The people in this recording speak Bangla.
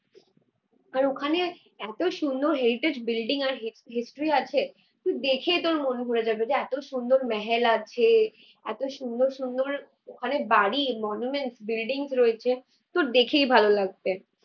আর ওখানে এতো সুন্দর heritage বিল্ডিং আর history আছে তুই দেখে তোর মনে হয়ে যাবে যে এতো সুন্দর মেহেল আছে, এতো সুন্দর সুন্দর বাড়ি, মনুমেন্টস, বিল্ডিংস রয়েছে তোর দেখেই ভালো লাগবে।